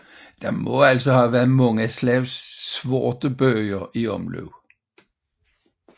Der må altså have været mange slags sortebøger i omløb